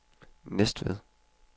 Næstved